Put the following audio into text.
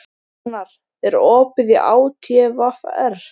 Rúnar, er opið í ÁTVR?